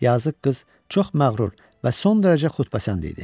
Yazıq qız çox məğrur və son dərəcə xudpasənd idi.